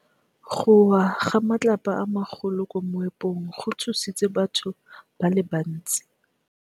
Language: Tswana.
Go wa ga matlapa a magolo ko moepong go tshositse batho ba le bantsi.